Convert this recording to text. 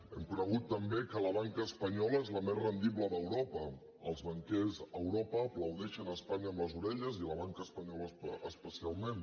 hem conegut també que la banca espanyola és la més rendible d’europa els banquers a europa aplaudeixen espanya amb les orelles i la banca espanyola especialment